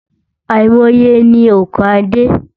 Àìmọye ni ònkà dé.